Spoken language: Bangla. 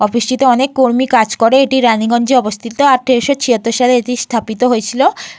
অফিস টিতে অনেক কর্মী কাজ করে। এটি রানিগঞ্জে অবস্থিত। আঠেরোশো ছিয়াত্তর সালে এটি স্থাপিত হয়েছিল।